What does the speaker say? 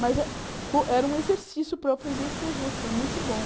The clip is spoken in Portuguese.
Mas eh era um exercício para eu aprender a escrever, que foi muito bom.